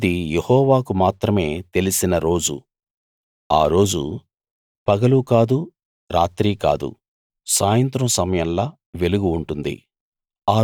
అది యెహోవాకు మాత్రమే తెలిసిన రోజు ఆ రోజు పగలూ కాదు రాత్రీ కాదు సాయంత్రం సమయంలో వెలుగు ఉంటుంది